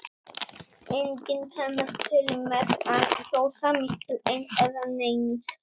Enginn kemur til með að kjósa mig til eins eða neins.